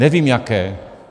Nevím jaké.